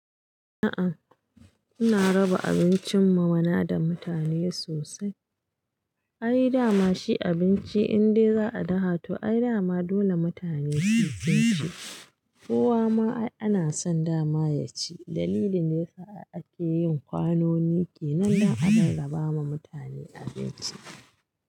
A'a, ana raba abincin ma wanda mutane sosai. Ai dama shi abinci indai za a dafa to ai dama dole mutane sai sun ci. Kowa ma ai ana son dama ya ci, dalilin da yasa ai ake yin kwanoni kenan dan a rarraba ma mutane abinci.